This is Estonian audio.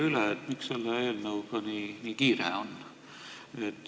Küsin veel üle, miks selle eelnõuga nii kiire on.